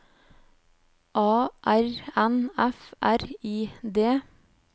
A R N F R I D